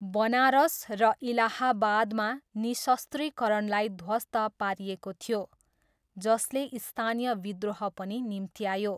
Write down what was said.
बनारस र इलाहाबादमा, निशस्त्रीकरणलाई ध्वस्त पारिएको थियो, जसले स्थानीय विद्रोह पनि निम्त्यायो।